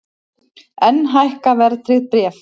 Enn hækka verðtryggð bréf